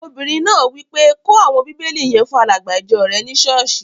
Obìnrin náà wí pé, 'kó àwọn bíbélì yẹn fún alàgbà ìjọ rẹ ní sọ́ọ̀sì!